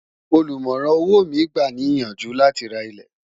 ọ̀lumorán owó mí gbà ní iyànjú là tí rà ilé